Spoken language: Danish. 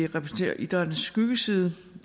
repræsenterer idrættens skyggeside